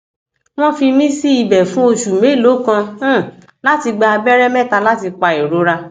wọn fi mí sí ibẹ fún oṣù mélòó kan um láti gba abẹrẹ mẹta láti pa ìrora